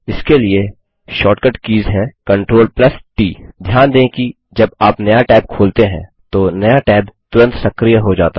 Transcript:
इसके लिए shortcut keys हैं CTRLT ध्यान दें कि जब आप नया टैब खोलते हैं तो नया टैब तुरंत सक्रिय हो जाता है